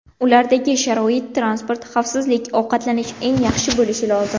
Ulardagi sharoit transport, xavfsizlik, ovqatlanish eng yaxshi bo‘lishi lozim.